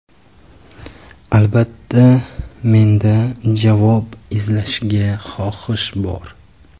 Albatta, menda javob izlashga xohish bor.